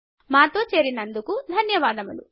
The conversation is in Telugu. మాతో చేరినందుకు ధన్యవాదములు